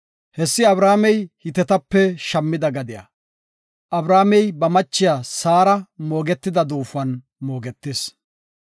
Hessi Abrahaamey Hitetape shammida gadiya. Abrahaamey ba machiya Saara moogetida duufuwan moogetis.